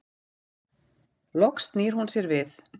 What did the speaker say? Loks snýr hún sér við.